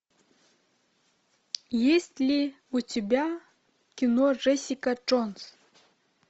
есть ли у тебя кино джессика джонс